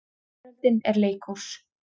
Veröldin er leikhús.